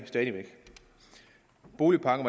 boligpakke